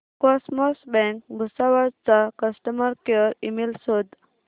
cosmos bank Bhusawal चा customer care email शोध